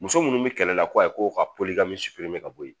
Muso minnu bi kɛlɛ la ko ayi ko ka ka boyi.